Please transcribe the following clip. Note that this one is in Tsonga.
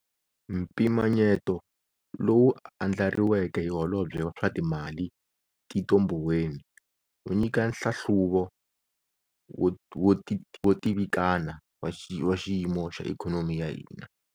Mpimanyeto lowu andlariweke hi Holobye wa swa Timali, Tito Mboweni wu nyika nhlahluvo wo tivikana wa xiyimo xa ikhonomi ya hina.